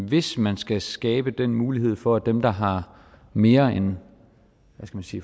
hvis man skal skabe den mulighed for dem der har mere end